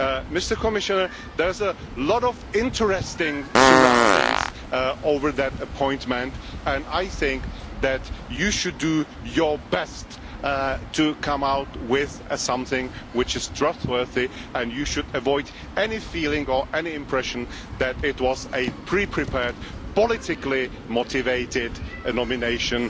Mr Commissioner, there is a lot of interest surrounding that appointment and I think that you should do your best to come out with something which is trustworthy, and you should avoid any feeling or any impression that it was a pre prepared, politically motivated nomination.